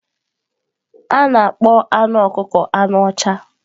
A na-akpọ anụ ọkụkọ anụ ọcha.